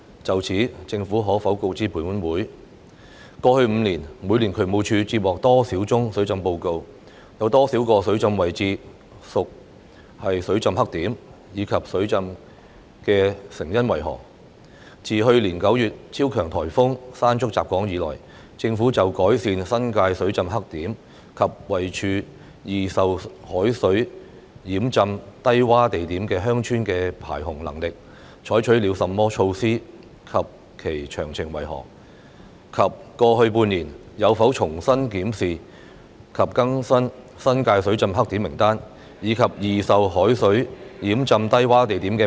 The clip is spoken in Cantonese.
就此，政府可否告知本會：一過去5年，每年渠務署接獲多少宗水浸報告，有多少個水浸位置屬水浸黑點，以及水浸的成因為何；二自去年9月超強颱風山竹襲港以來，政府就改善新界水浸黑點及位處易受海水淹浸低窪地點的鄉村的排洪能力，採取了甚麼措施及其詳情為何；及三過去半年，有否重新檢視及更新新界水浸黑點名單，以及易受海水淹浸低窪地點的名單......